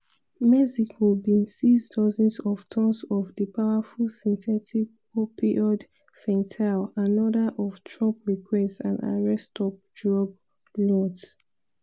mexico bin seize dozens of tonnes of di powerful synthetic opioid fentanyl anoda of trump requests and arrest top drug lords.